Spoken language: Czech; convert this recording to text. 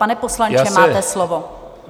Pane poslanče, máte slovo.